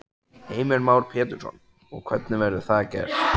Heimir Már Pétursson: Og hvernig verður það gerst?